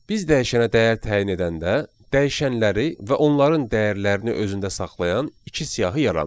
Biz dəyişənə dəyər təyin edəndə, dəyişənləri və onların dəyərlərini özündə saxlayan iki siyahı yaranır.